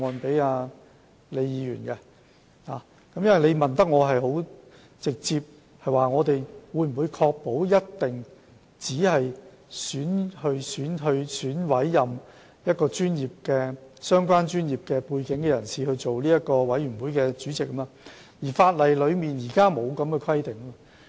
他的補充質詢很直接地問，政府當局能否確保只會委任有相關專業背景的人擔任管理委員會主席，但現行法例並沒有這樣的規定。